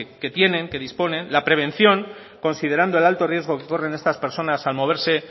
que tienen que disponen la prevención considerando el alto riesgo que corren estas personas al moverse